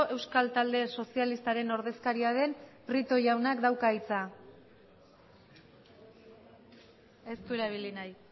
euskal talde sozialistaren oredzkariaden prieto jauna dauka hitza ez durabili nahi